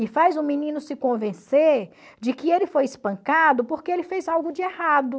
E faz o menino se convencer de que ele foi espancado porque ele fez algo de errado.